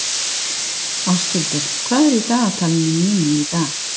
Ástheiður, hvað er í dagatalinu mínu í dag?